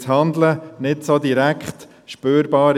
Denn das Handeln ist nicht so direkt spürbar.